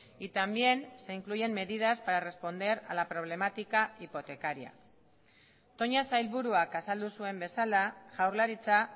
y también se incluyen medidas para responder a la problemática hipotecaria toña sailburuak azaldu zuen bezala jaurlaritza